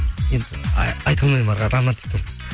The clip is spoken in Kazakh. енді айта алмаймын әрі қарай романтикпін